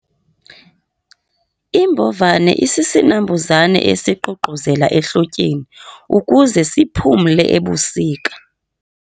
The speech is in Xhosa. Imbovane isisinambuzane esiququzela ehlotyeni ukuze siphumle ebusika.